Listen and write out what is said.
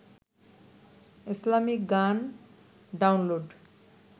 Islamic গান download